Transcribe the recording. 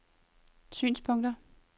synspunkter